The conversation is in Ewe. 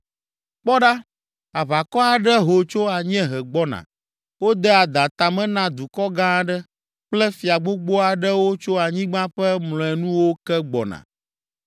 “Kpɔ ɖa! Aʋakɔ aɖe ho tso anyiehe gbɔna, wode adã ta me na dukɔ gã aɖe kple fia gbogbo aɖewo tso anyigba ƒe mlɔenuwo ke gbɔna.